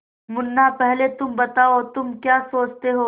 मुन्ना पहले तुम बताओ तुम क्या सोचते हो